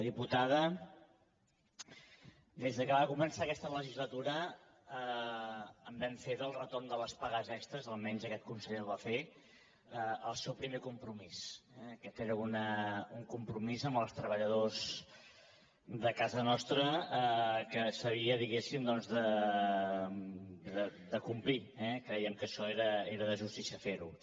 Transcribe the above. diputada des que va començar aquesta legislatura en vam fer del retorn de les pagues extres almenys aquest conseller ho va fer el seu primer compromís eh aquest era un compromís amb els treballadors de casa nostra que s’havia diguéssim doncs de complir eh crèiem que això era de justícia fer ho